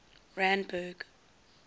randburg